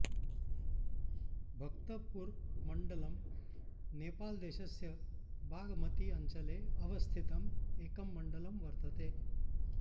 भक्तपुरमण्डलम् नेपालदेशस्य बागमती अञ्चले अवस्थितं एकं मण्डलं वर्तते